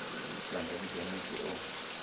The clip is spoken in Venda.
vha nga vhiga muthu o